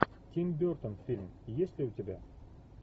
тим бертон фильм есть ли у тебя